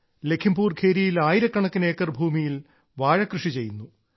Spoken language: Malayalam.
ലഘീംപൂർ ഖീരിയിൽ ആയിരക്കണക്കിന് ഏക്കർ ഭൂമിയിൽ വാഴകൃഷി ചെയ്യുന്നു